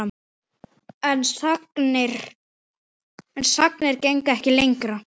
En sagnir gengu ekki lengra.